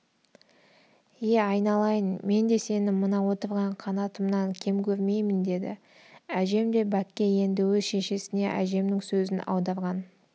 е айналайын мен де сені мына отырған қанатымнан кем көрмеймін деді әжем де бәкке енді өз шешесіне әжемнің сөзін аударған